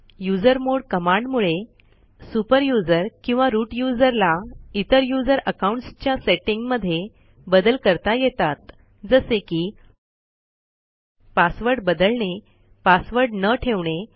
usermod कमांडमुळे super user किंवा root user ला इतर यूझर अकाऊंटसच्या सेटींग मध्ये बदल करता येतात जसे की पासवर्ड बदलणे पासवर्ड न ठेवणे